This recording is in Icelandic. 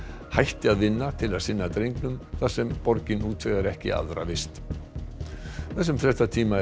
hætti að vinna til að sinna drengnum þar sem borgin útvegar ekki aðra frístundavist þessum fréttatíma er